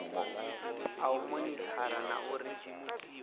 a u monithara na uri